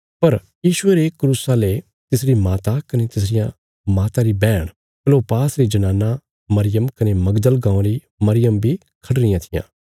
पर यीशुये रे क्रूसा ले तिसरी माता कने तिसरिया माता री बैहण क्लोपास री जनाना मरियम कने मगदल गाँवां री मरियम बी खढ़ी रियां थिआं